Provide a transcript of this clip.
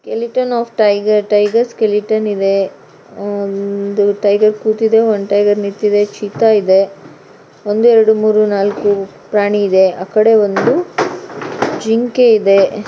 Skeleton of tiger tiger skeleton ಇದೆ ಒಂದು tiger ಕೂತಿದೆ ಒಂದು ಟೈಗರ್ ನಿಂತಿದೆ ಚೀತಾ ಇದೆ. ಒಂದು ಎರಡು ಮೂರು ನಾಲ್ಕು ಪ್ರಾಣಿ ಇದೆ ಆಕಡೆ ಒಂದು ಜಿಂಕೆ ಇದೆ.